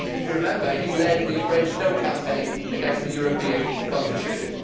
If you remember, he led the French No' campaign against the European Constitution.